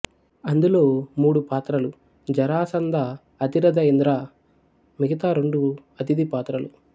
అందులో మూడు పాత్రలు జరాసంద అతిరధ ఇంద్ర మిగతా రెండు అతిథి పాత్రలు